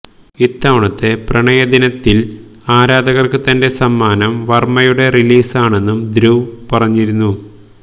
ഇത്തവണത്തെ പ്രണയദിനത്തില് ആരാധകര്ക്ക് തന്റെ സമ്മാനം വര്മ്മയുടെ റിലീസാണെന്നും ധ്രുവ് പറഞ്ഞിരുന്നു